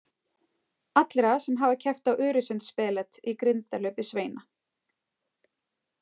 Allra sem hafa keppt á Öresundsspelet í grindahlaupi sveina.